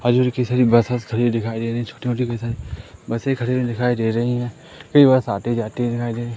buses खड़ी दिखाई दे रही बसे खड़ी हुई दिखाई दे रही है कई बसें आते जाते दिखाई दे रहे--